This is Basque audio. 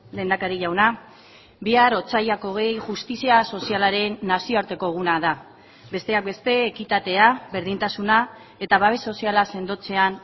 lehendakari jauna bihar otsailak hogei justizia sozialaren nazioarteko eguna da besteak beste ekitatea berdintasuna eta babes soziala sendotzean